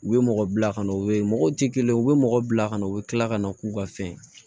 U ye mɔgɔ bila ka na u bɛ mɔgɔw tɛ kelen ye u bɛ mɔgɔ bila ka na u bɛ tila ka na k'u ka fɛn